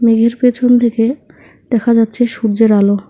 এর পেছনদিকে দেখা যাচ্ছে সূর্যের আলো।